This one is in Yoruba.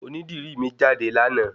Oní dìrí mi jáde láàná